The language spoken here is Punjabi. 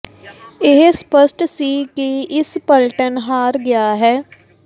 ਇਹ ਸਪੱਸ਼ਟ ਸੀ ਕਿ ਇਸ ਪਲਟਨ ਹਾਰ ਗਿਆ ਹੈ